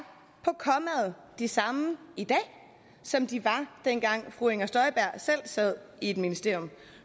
de samme i dag som de var dengang fru inger støjberg selv sad i et ministerium